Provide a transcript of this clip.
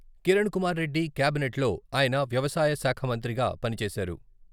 కిరణ్ కుమార్రెడ్డి కాబినెట్లో ఆయన వ్యవసాయశాఖ మంత్రిగా పనిచేశారు.